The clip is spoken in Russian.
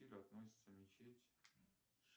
относится мечеть